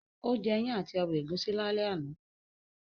Ó jẹ́ ìyàn àti ọbẹ̀ ẹ̀gúsí lálẹ́ àná